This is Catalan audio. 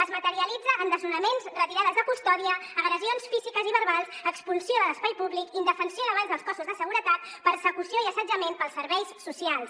es materialitza en desnonaments retirades de custòdia agressions físiques i verbals expulsió de l’espai públic indefensió davant dels cossos de seguretat persecució i assetjament pels serveis socials